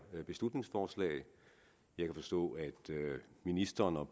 beslutningsforslag jeg kan forstå at ministeren og